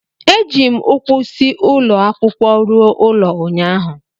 Eji m ụkwụ si ụlọ akwụkwọ ruo ụlọ ụnyahụ